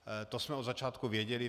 To jsme od začátku věděli.